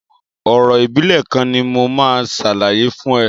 Orò ìbílẹ̀ kan ni mo máa ṣàlàyé fún ẹ.